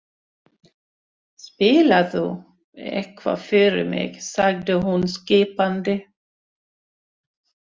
Spilaðu eitthvað fyrir mig sagði hún skipandi.